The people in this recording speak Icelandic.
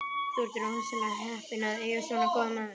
Þú ert rosalega heppinn að eiga svona góða mömmu.